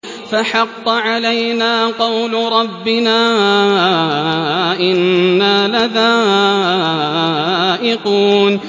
فَحَقَّ عَلَيْنَا قَوْلُ رَبِّنَا ۖ إِنَّا لَذَائِقُونَ